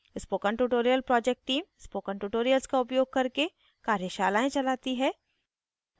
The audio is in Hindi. spoken tutorial project team spoken tutorials का उपयोग करके कार्यशालाएं चलाती है